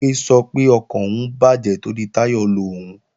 Bimpé sọ pé ọkàn òun bàjẹ́ torí Táyọ̀ lo òun